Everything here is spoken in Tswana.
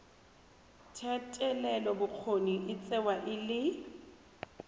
thetelelobokgoni e tsewa e le